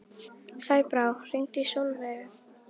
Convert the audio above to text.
Sæbrá, hringdu í Solveigu.